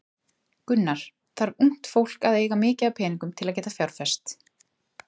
Gunnar: Þarf ungt fólk að eiga mikið af peningum til að geta fjárfest?